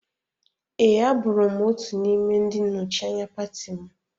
Ee, abụrụ m otu n'ime ndị nnọchianya pati m.